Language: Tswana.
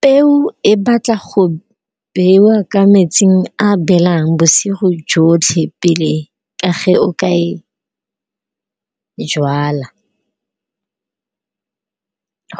Peo e batla go bewa ka metsing a belang bosigo jotlhe pele ka ge o ka e jwala,